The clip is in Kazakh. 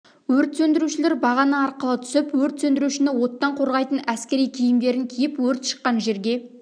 өрт сөндірушілер бағана арқылы түсіп өрт сөндірушіні оттан қорғайтын әскери киімдердін киіп өрт шыққан жерге